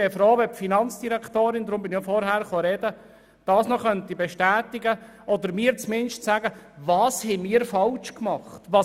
Ich wäre froh, wenn die Finanzdirektorin das noch bestätigen oder mir zumindest zu sagen könnte, was wir falsch gemacht haben.